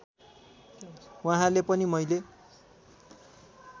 वहाँले पनि मैले